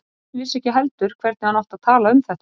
Örn vissi ekki heldur hvernig hann átti að tala um þetta.